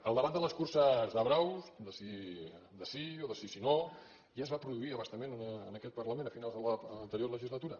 el debat de les curses de braus de sí o de si no ja es va produir a bastament en aquest parlament a finals de l’anterior legislatura